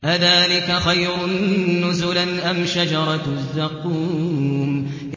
أَذَٰلِكَ خَيْرٌ نُّزُلًا أَمْ شَجَرَةُ الزَّقُّومِ